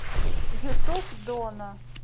ютуб доно